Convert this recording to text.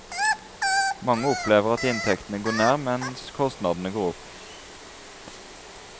Mange opplever at inntektene går ned, mens kostnadene går opp.